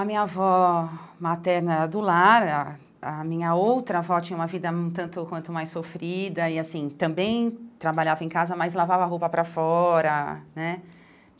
A minha avó materna era do lar, a a minha outra avó tinha uma vida um tanto quanto mais sofrida e assim, também trabalhava em casa, mas lavava a roupa para fora, né?